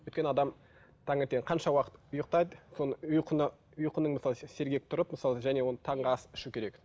өйткені адам таңертең қанша уақыт ұйықтайды соны ұйқыны ұйқыны мысалы сергек тұрып және оны таңғы ас ішу керек